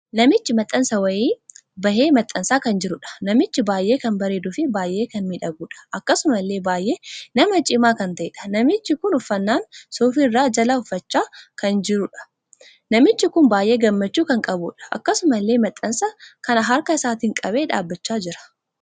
Namichi maxxansaa wayii bahee maxxansaa kan jiruudha. namichi baay'ee kan bareeduu fi baay'ee kan miidhaguudha. akkasumallee baay'ee nama cimaa kan taheedha. namichi kun uffannaan suufii irraa jala uffachaa kan jiruudha. namichi kun baay'ee gammachuu kan qabuudha. akkasumallee maxxansa kana harka isaatiin qabee dhaabbachaa jira.